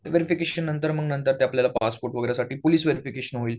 ते व्हेरिफिकेशन नंतर मग ते आपल्याला पासपोर्ट साठी पुलिस व्हेरिफिकेशन होईल.